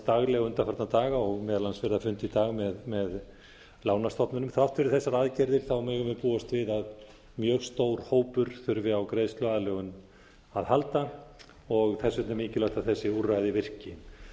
daglega undanfarna daga og meðal annars verið að funda í dag með lánastofnunum þrátt fyrir þessar aðgerðir megum við búast við að mjög stór hópur þurfi á greiðsluaðlögun að halda og þess vegna er mikilvægt að þessi úrræði virki það